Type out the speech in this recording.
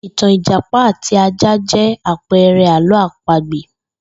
Ìtàn Ìjàpá àti ajá jé̩ àpe̩e̩re̩ àló̩ àpagbè